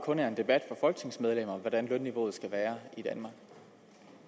kun er en debat for folketingsmedlemmer hvordan lønniveauet skal være